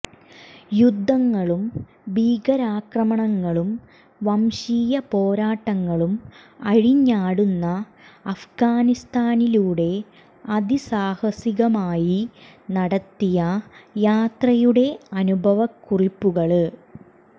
യുദ്ധങ്ങളും ഭീകരാക്രമണങ്ങളും വംശീയ പോരാട്ടങ്ങളും അഴിഞ്ഞാടുന്ന അഫ്ഗാനിസ്താനിലൂടെ അതി സാഹസികമായി നടത്തിയ യാത്രയുടെ അനുഭവക്കുറിപ്പുകള്